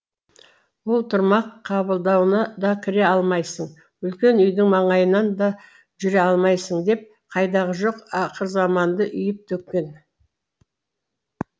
ол тұрмақ қабылдуына да кіре алмайсың үлкен үйдің маңайынан да жүре алмайсың деп қайдағы жоқ ақыр заманды үйіп төккен